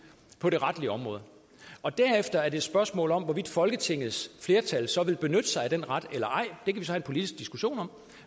på det retlige område og derefter er det et spørgsmål om hvorvidt folketingets flertal så vil benytte sig af den ret eller ej det kan vi have en politisk diskussion om